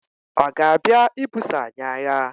ọ̀ ga-abịa ibuso anyị agha?